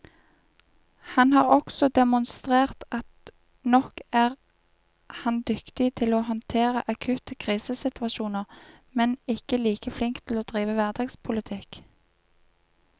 Han har også demonstrert at nok er han dyktig til å håndtere akutte krisesituasjoner, men ikke like flink til å drive hverdagspolitikk.